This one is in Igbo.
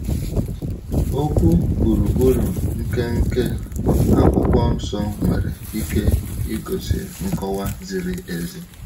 Okwu gburugburu nke nke Akwụkwọ Nsọ nwere ike igosi nkọwa ziri ezi.